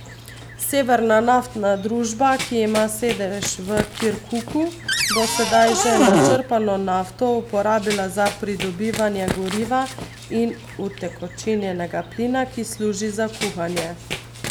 Severna naftna družba, ki ima sedež v Kirkuku, bo sedaj že načrpano nafto uporabila za pridobivanje goriva in utekočinjenega plina, ki služi za kuhanje.